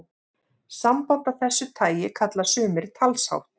Samband af þessu tagi kalla sumir talshátt.